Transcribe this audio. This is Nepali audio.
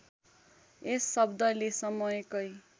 यस शब्दले समयकै